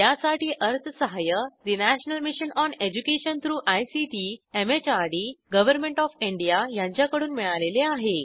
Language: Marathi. यासाठी अर्थसहाय्य national mission on education through ICT MHRD government OF India यांच्याकडून मिळालेले आहे